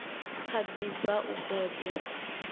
kha ḓi bva u bebwa